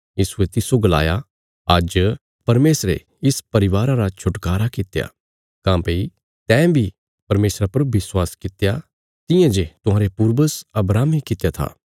यीशुये तिस्सो गलाया आज्ज परमेशरे इस परिवारा रा छुटकारा कित्या काँह्भई तैं बी परमेशरा पर विश्वास कित्या तियां जे तुहांरे पूर्वज अब्राहमे कित्या था